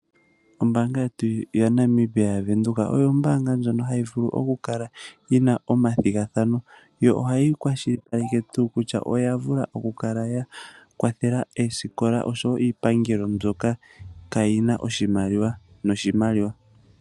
Ombaanga yetu yaNamibia yaWindhoek oyo ombaanga yimwe hayi vulu okukala yi na omathigathano, yo ihayi kwashilipaleke tuu kutya oyavula okukala yakwathela oosikola osho wo iipangelo mbyoka kaayi na oshimaliwa noshimaliwa.